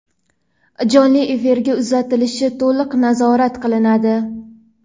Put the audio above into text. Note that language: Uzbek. jonli efirga uzatilishi to‘liq nazorat qilinadi.